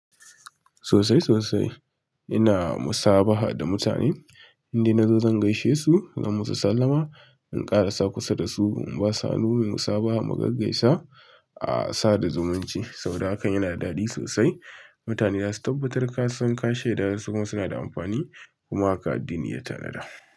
Sosai sosai, ina musabaha da mutane, indai nazo zan gaishe su, zan mu su sallama, in ƙarasa kusa da su in ba s hannu, muyi musabaha mu gaggaisa, a sa da zumunci. Saboda hakan yana da daɗi sosai. Mutane za su tabbatar ka san ka shaida suma suna da amfani, kuma haka addini ya tanada.